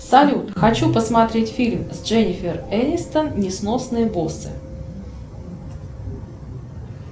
салют хочу посмотреть фильм с дженнифер энистон несносные боссы